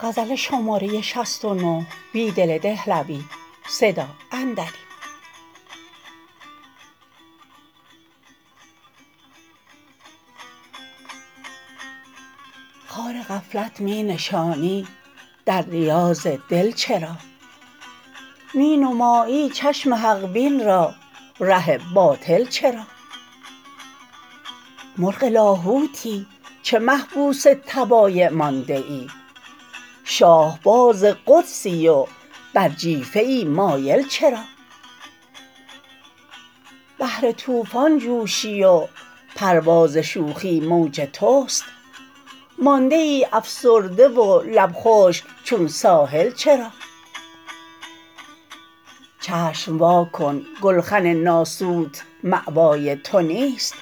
خار غفلت می نشانی در ریاض دل چرا می نمایی چشم حق بین را ره باطل چرا مرغ لاهوتی چه محبوس طبایع مانده ای شاهباز قدسی و بر جیفه ای مایل چرا بحرتوفان جوشی وپرواز شوخی موج تست مانده ای افسرده ولب خشک چون ساحل چرا چشم واکن گلخن ناسوت مأوای تونیست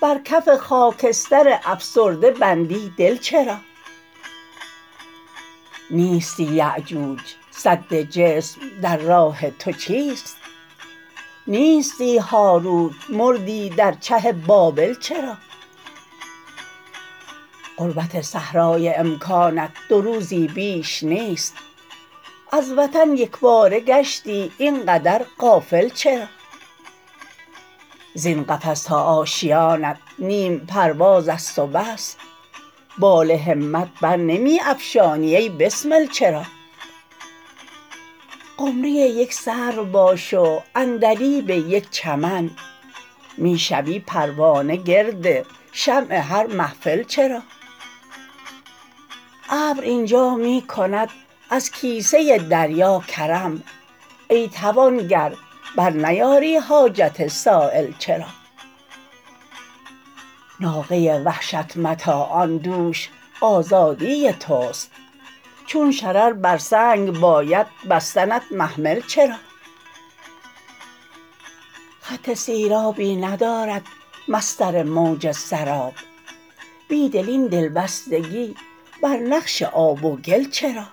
برکف خاکستر افسرده بندی دل چرا نیشی یأجوج سد جسم درراه توچیست نیستی هاروت مردی در چه بابل چرا غربت صحرای امکانت دوروزی بیش نیست از وطن یکباره گشتی اینقدر غافل چرا زین قفس تا آشیانت نیم پروازست و بس بال همت برنمی افشانی ای بسمل چرا قمری یک سروباش وعندلیب یک چمن می شوی پروانه گرد شمع هرمحفل چرا ابر اینجا می کند ازکیسه دریا کرم ای توانگر برنیاری حاجت سایل چرا ناقه وحشت متاعان دوش آزدی تست چون شرربرسنگ باید بستنت محمل چرا خط سیرابی ندارد مسطر موج سراب بیدل این دلبستگی برنقش آب وگل چرا